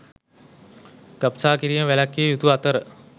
ගබ්සා කිරීම වැළැක්විය යුතු අතර